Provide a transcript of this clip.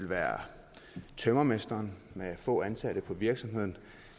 være tømrermesteren med få ansatte i virksomheden